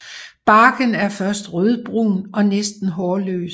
Barken er først rødbrun og næsten hårløs